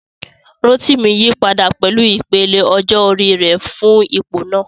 Rotimi yí padà pẹ̀lú ìpele ọjọ́ orí rẹ̀ fún ipò náà.